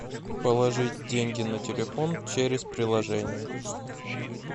положить деньги на телефон через приложение